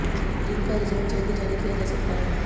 जिनका रिजल्ट जल्द जारी किया जा सकता है